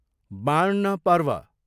बाँड्न पर्व